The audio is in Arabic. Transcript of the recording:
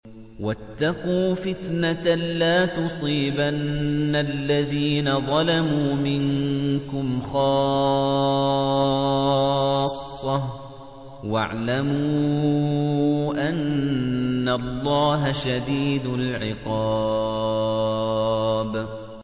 وَاتَّقُوا فِتْنَةً لَّا تُصِيبَنَّ الَّذِينَ ظَلَمُوا مِنكُمْ خَاصَّةً ۖ وَاعْلَمُوا أَنَّ اللَّهَ شَدِيدُ الْعِقَابِ